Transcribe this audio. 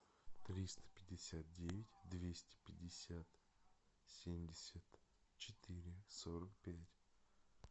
триста пятьдесят девять двести пятьдесят семьдесят четыре сорок пять